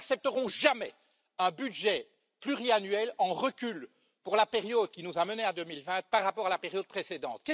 Nous n'accepterons jamais un budget pluriannuel en recul pour la période qui nous a menés à 2020 par rapport à la période précédente.